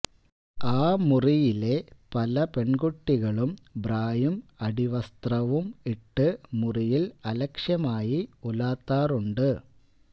ആ മുറിയിലെ പല പെണ്കുട്ടികളും ബ്രായും അടിവസ്ത്രവും ഇട്ടു മുറിയില് അലക്ഷ്യമായി ഉലാത്താറുണ്ട്